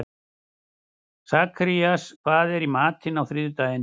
Sakarías, hvað er í matinn á þriðjudaginn?